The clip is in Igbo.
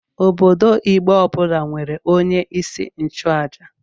Obodo Igbo ọbụla nwere onye isi nchụaja.